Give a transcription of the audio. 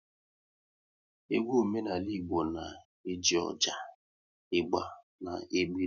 Egwu omenala Igbo na-eji ọjà, ịgba na-ekpiri